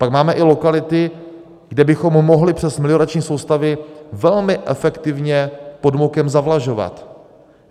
Pak máme i lokality, kde bychom mohli přes meliorační soustavy velmi efektivně podmokem zavlažovat.